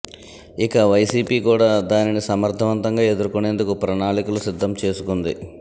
ఇక వైసీపీ కూడా దానిని సమర్థవంతంగా ఎదుర్కొనేందుకు ప్రణాళికలు సిద్ధం చేసుకుంది